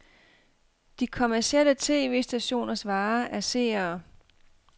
De kommercielle tv-stationers vare er seere.